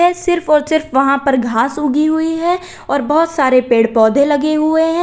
ये सिर्फ और सिर्फ वहां पर घास उगी हुई है और बहुत सारे पेड़ पौधे लगे हुए हैं।